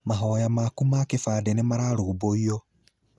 Mahoya maku ma kĩbandĩ nĩmararũmbũiyo.